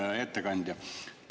Hea ettekandja!